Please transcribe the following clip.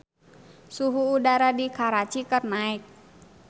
Suhu udara di Karachi keur naek